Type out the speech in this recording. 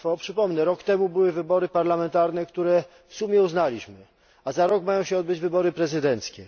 Przypomnę, rok temu były wybory parlamentarne, które w sumie uznaliśmy, a za rok mają się odbyć wybory prezydenckie.